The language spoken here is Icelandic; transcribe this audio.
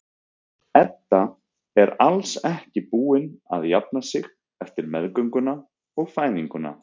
Edda er alls ekki búin að jafna sig eftir meðgönguna og fæðinguna.